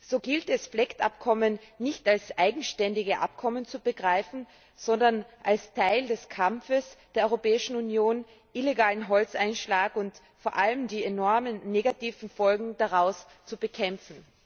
So gilt es, FLEGT Abkommen nicht als eigenständige Abkommen zu begreifen, sondern als Teil des Kampfes der Europäischen Union, illegalen Holzeinschlag und vor allem die enormen negativen Folgen daraus zu bekämpfen.